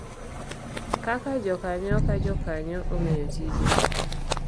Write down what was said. Kaka jokanyo ka jokanyo ong’eyo tije